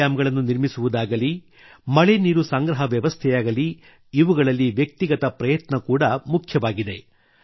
check dam ಗಳನ್ನು ನಿರ್ಮಿಸುವುದಾಗಲೀ ಮಳೆ ನೀರು ಸಂಗ್ರಹ ವ್ಯವಸ್ಥೆಯಾಗಲೀ ಇವುಗಳಲ್ಲಿ ವ್ಯಕ್ತಿಗತ ಪ್ರಯತ್ನ ಕೂಡ ಮುಖ್ಯವಾಗಿದೆ